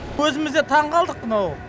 өзіміз де таңғалдық мынау